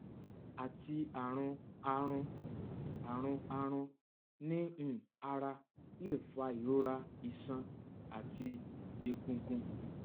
ati arun aarun arun aarun ni um ara le fa irora iṣan ati egungun